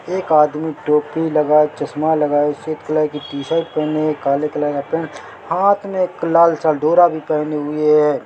एक आदमी टोपी लगाए चश्मा लगाए स्वेत कलर की टी-शर्ट पेहने है एक काले कलर का पैन्ट हाथ मे एक लालसा डोरा भी पेहने हुए है।